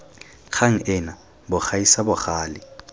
kgang ena bo gaisa bogale